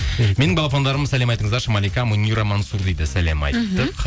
менің балапандарым сәлем айтыңыздаршы малика мунира мансур дейді сәлем айттық